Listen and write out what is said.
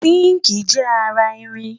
sinkii jé ará ìrìn